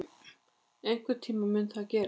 Einhvern tíma mun það gerast.